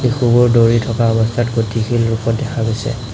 শিশুবোৰ দৌৰি থকা অৱস্থাত গতিশীল ৰূপত দেখা গৈছে।